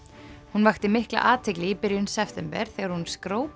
hún vakti mikla athygli í byrjun september þegar hún